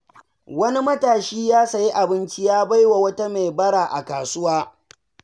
Wani matashi ya sayi abinci ya bai wa wata mai bara a kasuwa.